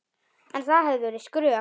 En það hefði verið skrök.